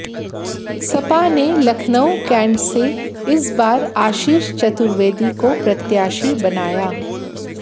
सपा ने लखनऊ कैंट से इस बार आशीष चतुर्वेदी को प्रत्याशी बनाया